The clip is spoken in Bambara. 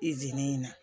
I jeni in na